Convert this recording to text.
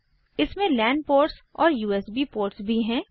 इसमें LAN ports और USB ports भी हैं